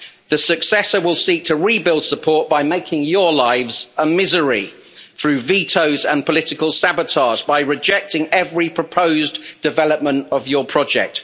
The successor will seek to rebuild support by making your lives a misery through vetoes and political sabotage, by rejecting every proposed development of your project.